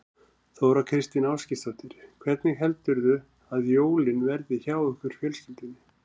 Þóra Kristín Ásgeirsdóttir: Hvernig heldurðu að jólin verði hjá ykkur fjölskyldunni?